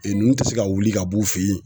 nunnu ti se ka wuli ka b'u fe yen